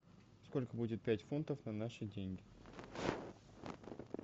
сколько будет пять фунтов на наши деньги